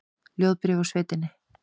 Ljóðabréf úr sveitinni